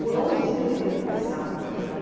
Por onde eu iria começar?